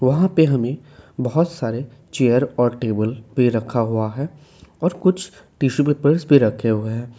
वहां पे हमें बहोत सारे चेयर और टेबल पे रखा हुआ है और कुछ टिशू पेपर्स भी रखे हुए हैं।